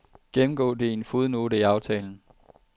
Gennemgå det i en fodnote i aftalen.